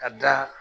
Ka da